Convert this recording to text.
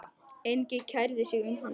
Enginn kærði sig um hann.